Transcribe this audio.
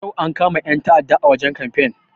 Yau ankama 'yan ta'aɗa a wajen kamfen.